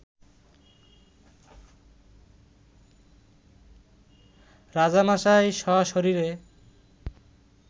রাজামশাই সশরীরে